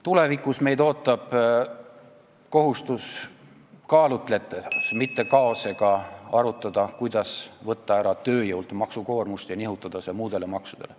Tulevikus ootab meid kohustus kaalutledes, mitte kaost tekitades arutada, kuidas võtta tööjõult maksukoormust vähemaks ja nihutada see muudele maksudele.